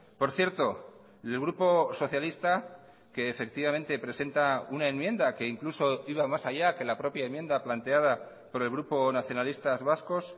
por cierto el grupo socialista que efectivamente presenta una enmienda que incluso iba más allá que la propia enmienda planteada por el grupo nacionalistas vascos